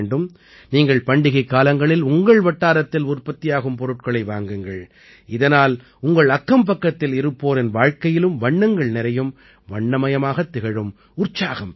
நீங்கள் பண்டிகைக் காலங்களில் உங்கள் வட்டாரத்தில் உற்பத்தியாகும் பொருட்களை வாங்குங்கள் இதனால் உங்கள் அக்கம்பக்கத்தில் இருப்போரின் வாழ்க்கையிலும் வண்ணங்கள் நிறையும் வண்ணமயமாகத் திகழும் உற்சாகம் பெருகும்